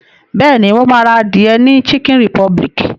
Bẹ́ẹ̀ni, mo ma ra adìẹ ni chicken republic